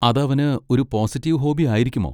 അത് അവന് ഒരു പോസിറ്റീവ് ഹോബി ആയിരിക്കുമോ?